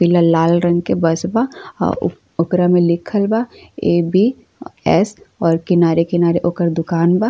पीला लाल रंग के बस बा। अ ओकरा में लिखल बा ए.बी.एस और किनारे किनारे ओकर दुकान बा।